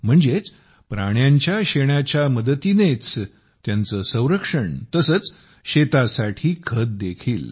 म्हणजेच प्राण्यांच्या शेणाच्या मदतीनेच त्यांचे संरक्षण तसेच शेतासाठी खतदेखील